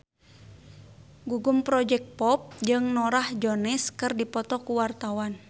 Gugum Project Pop jeung Norah Jones keur dipoto ku wartawan